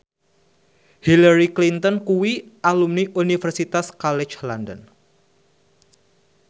Hillary Clinton kuwi alumni Universitas College London